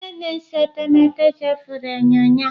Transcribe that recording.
Onye na-ese etemeete chefuru enyo ya.